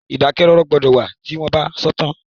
Ìdákẹ́ rọ́rọ́ gbọdọ̀ wà tí wọ́n bá sọ̀tàn